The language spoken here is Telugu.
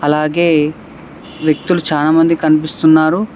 అలాగే వ్యక్తులు చాలా మంది కనిపిస్తున్నారు.